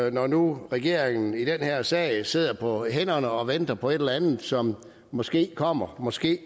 at når nu regeringen i den her sag sidder på hænderne og venter på et eller andet som måske kommer måske